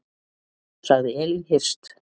Sagði Elín Hirst.